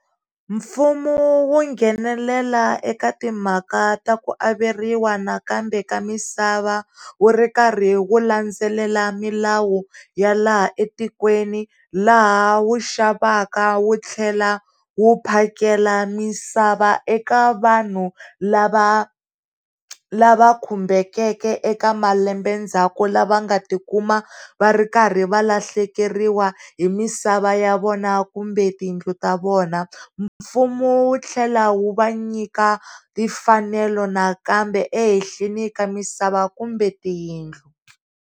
Mfumo wu nghenelela eka timhaka ta ku averiwa nakambe ka misava wu ri karhi wu landzelela milawu ya laha etikweni la ha wu xavaka wu tlhela wu phakela misava eka vanhu lava khumbekeke eka malembe ndzhaku lava nga tikuma va rikarhi valahlekeriwa hi misava ya vona kumbe tindlu ta vona fumo wu tlhela wu va nyika timfanelo nakambe ehehleni ka misava kumbe tiyindlu.